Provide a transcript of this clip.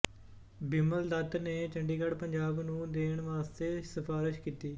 ਬਿਮਲ ਦੱਤ ਨੇ ਚੰਡੀਗੜ੍ਹ ਪੰਜਾਬ ਨੂੰ ਦੇਣ ਵਾਸਤੇ ਸਿਫ਼ਾਰਸ਼ ਕੀਤੀ